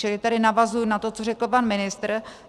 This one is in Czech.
Čili tady navazuji na to, co řekl pan ministr.